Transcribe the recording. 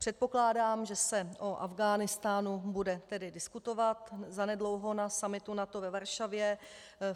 Předpokládám, že se o Afghánistánu bude tedy diskutovat zanedlouho na summitu NATO ve Varšavě.